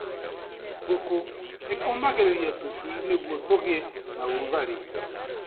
Ngũkũ ĩkomagĩrĩria tũcui niguo tũgĩe na ũrugarĩ.